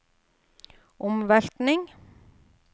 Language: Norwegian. omveltning